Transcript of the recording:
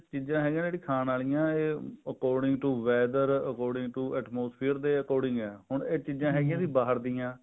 ਚੀਜ਼ਾਂ ਹੈਗੀਆਂ ਨੇ ਜਿਹੜੀਆਂ ਖਾਣ ਵਾਲੀਆਂ according to weather according to atmosphere ਦੇ ਅਚੂਰ੍ਡਿੰਗ ਹੈ ਹੁਣ ਇਹ ਚੀਜ਼ਾਂ ਹੈਗੀਆਂ ਭਰ ਦੀਆਂ